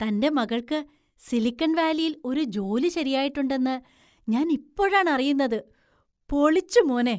തന്‍റെ മകൾക്ക് സിലിക്കന്‍ വാലിയില്‍ ഒരു ജോലി ശരിയായിട്ടുണ്ടെന്ന് ഞാൻ ഇപ്പോഴാണ് അറിയുന്നത്. പൊളിച്ചു മോനേ!